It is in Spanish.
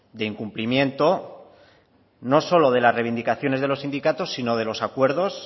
de incumplimiento no solo de las reivindicaciones de los sindicatos sino de los acuerdos